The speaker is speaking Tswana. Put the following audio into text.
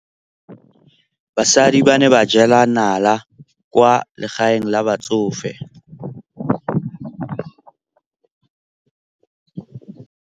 Basadi ba ne ba jela nala kwaa legaeng la batsofe.